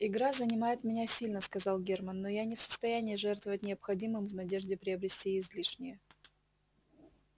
игра занимает меня сильно сказал германн но я не в состоянии жертвовать необходимым в надежде приобрести излишнее